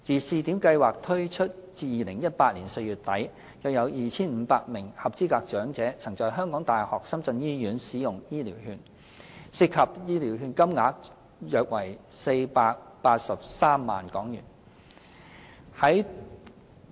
試點計劃自推出至2018年4月底，約有 2,500 名合資格長者曾在香港大學深圳醫院使用醫療券，涉及醫療券金額約為483萬港元。